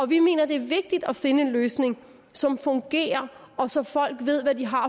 vi mener det er vigtigt at finde en løsning som fungerer og så folk ved hvad de har